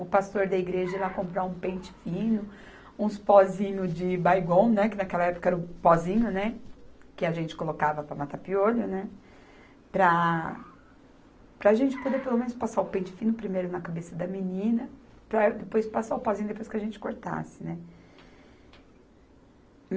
o pastor da igreja ir lá comprar um pente fino, uns pozinhos de Baygon, né, que naquela época era o pozinho, né, que a gente colocava para matar piolho, né, para a, para a gente poder pelo menos passar o pente fino primeiro na cabeça da menina, para depois passar o pozinho depois que a gente cortasse, né.